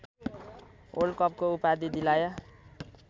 वल्डकपको उपाधि दिलाया